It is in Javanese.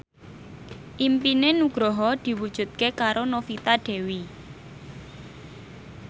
impine Nugroho diwujudke karo Novita Dewi